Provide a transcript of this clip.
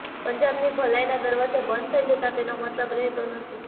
પંજાબની ભલાઇના દરવાજા બંધ થઇ જતાં તેનો મતલબ રહેતો નથી